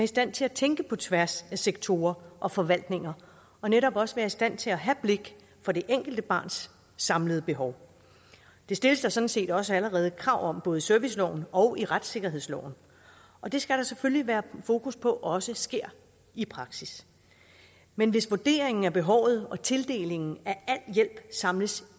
stand til at tænke på tværs af sektorer og forvaltninger og netop også være i stand til at have blik for det enkelte barns samlede behov det stilles der sådan set også allerede krav om både i serviceloven og i retssikkerhedsloven og det skal der selvfølgelig være fokus på også sker i praksis men hvis vurderingen af behovet og tildelingen af al hjælp samles